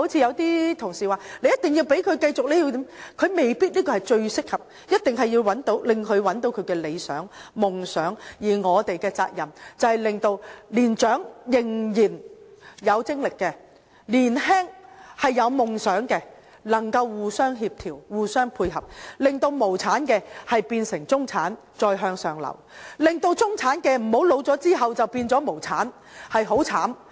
有些同事說，一定要讓他繼續受訓，但這未必最適合他，我們一定要讓他找到理想、夢想，而我們的責任是令年長和仍然有精力的，年輕有夢想的，能夠互相協調、互相配合，令無產的變成中產，再向上流；令中產的，在年老後不會變成無產，這樣會很悽慘。